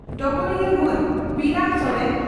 ᱰᱚᱜᱚᱨᱤᱭᱟᱹ ᱢᱟᱱ ᱵᱤᱨᱟᱹᱢ ᱥᱚᱨᱮᱱ